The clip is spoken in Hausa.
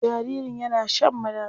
Jaririn yana shan madara.